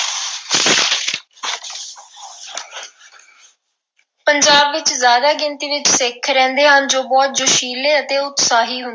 ਪੰਜਾਬ ਵਿੱਚ ਜ਼ਿਆਦਾ ਗਿਣਤੀ ਵਿੱਚ ਸਿੱਖ ਰਹਿੰਦੇ ਹਨ ਜੋ ਬਹੁਤ ਜੋਸ਼ੀਲੇ ਅਤੇ ਉਤਸ਼ਾਹੀ ਹੁੰਦੇ।